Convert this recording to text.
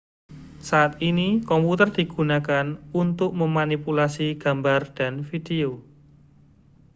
saat ini komputer digunakan untuk memanipulasi gambar dan video